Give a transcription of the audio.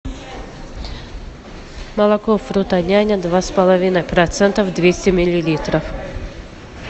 молоко фрутоняня два с половиной процента двести миллилитров